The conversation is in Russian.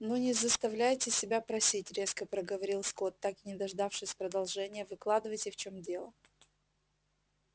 ну не заставляйте себя просить резко проговорил скотт так и не дождавшись продолжения выкладывайте в чём дело